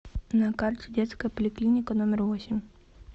на карте детская поликлиника номер восемь